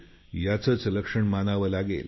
ह्याचंच लक्षण मानावं लागेल